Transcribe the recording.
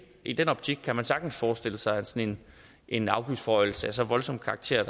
i den optik kan man sagtens forestille sig at sådan en afgiftsforhøjelse af så voldsom karakter